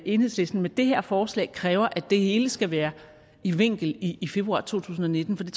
enhedslisten med det her forslag kræver at det hele skal være i vinkel i i februar to tusind og nitten for det